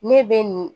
Ne bɛ nin